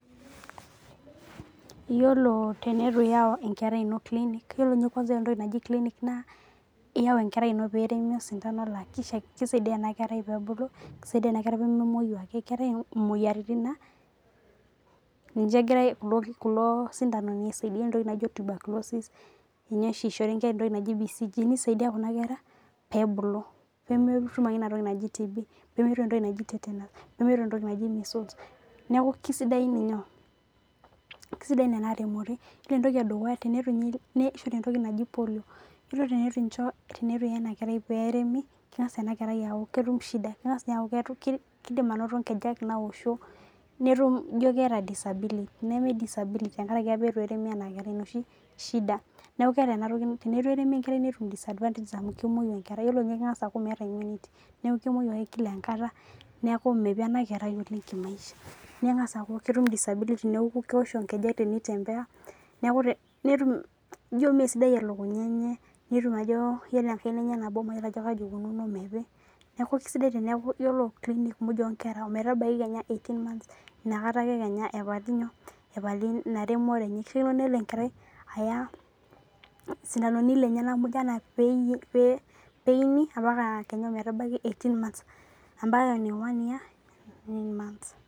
Iyiolo teneitu iyau enkerai iino clinic iyiolo ninye kwanza entoki naji clinic naa iiwa enkerai iino pee eremi osindano naa keisaidia ena kerai peee ebulu, keisaidia eena kerai pee memueu aake. Keetae isindanoni naa ninche egira kuulo sindanoni aisaidia. Oore entoki naijo tuberculosis ninche oshi eishori inkera entoki naji BVG neisaidia kuuna kera pee ebulu. nemetum aake iina toki naaji TB,nemetum entoki naaji tetanus, nemetum entoki naji miscues niaku kesidai eeena remoto. Oore entoki e dukuya keremi eena kerai osindano le polio oore teneitu iiya eena kerai pee eremi, keng'asa eena kerai aaku ketum shida keidim anoto inkejek naosho, nitum iijo keeta disability neme disability tenkaraki aapa eitu eremi eena kerai iina ooshi shida. Teneitu eremi enkerai netum disadvantage amuu kemueu enkerai keng'as aaku meeta immunity niaku mepi eena kerai oleng kimaisha. Amuu ketum disability niaku keoshi inkejek teneitembea, iijo mesidai elukunya eenye netum aajo oore enkaina eenye nabo mayiolo aajo kaji eikununo. Niaku kesidai aajo oore clinic muuj onkera ometabaiki kenya eighteen months nakata aake keenya epali iina remore.